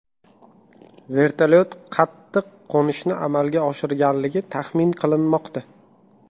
Vertolyot qattiq qo‘nishni amalga oshirganligi taxmin qilinmoqda.